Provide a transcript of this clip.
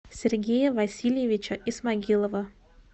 сергея васильевича исмагилова